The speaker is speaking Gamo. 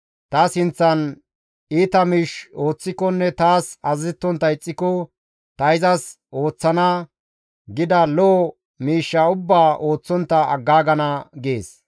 ta sinththan iita miish ooththikonne taas azazettontta ixxiko, ‹Ta izas ooththana› gida lo7o miishsha ubbaa ooththontta aggaagana» gees.